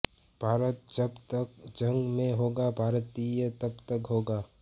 भारत जब तक जग में होगा भारतीयता तब तक होगी